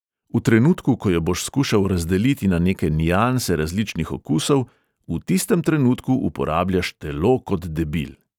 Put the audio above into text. V trenutku, ko jo boš skušal razdeliti na neke nianse različnih okusov, v tistem trenutku uporabljaš telo kot debil.